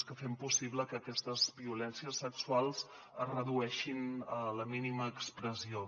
que fem possible que aquestes violències sexuals es redueixin a la mínima expressió